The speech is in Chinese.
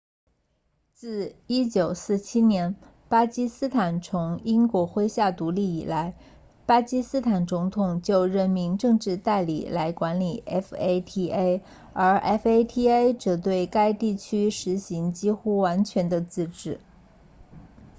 自1947年巴基斯坦从英国麾下独立以来巴基斯坦总统就任命政治代理来管理 fata 而 fata 则对该地区实行几乎完全的自治